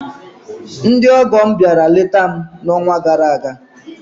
Ndị ọgọ m bịara leta m n'ọnwa gara aga.